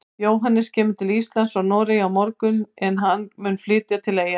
Jóhannes kemur til Íslands frá Noregi á morgun en hann mun flytja til Eyja.